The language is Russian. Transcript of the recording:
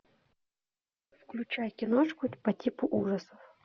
включай киношку по типу ужасов